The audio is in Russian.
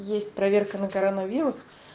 есть проверка на коронавирус